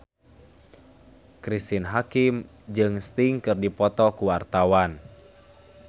Cristine Hakim jeung Sting keur dipoto ku wartawan